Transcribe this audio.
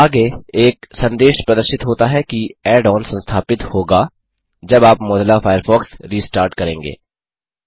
आगे एक संदेश प्रदर्शित होता है कि ऐड ऑन संस्थापित होगा जब आप मोज़िला फ़ायरफ़ॉक्स रिस्टार्ट करेंगे